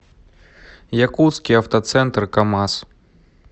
якутский автоцентр камаз